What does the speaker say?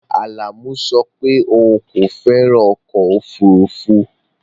Alamu so pe oun ko feran ọ̀kọ̀ ofúrúfú